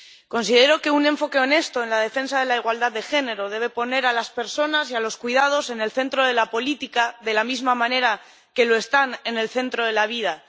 Considero que un enfoque honesto en la defensa de la igualdad de género debe poner a las personas y a los cuidados en el centro de la política, de la misma manera que están en el centro de la vida.